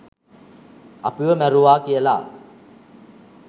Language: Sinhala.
අපිව මරුවා කියල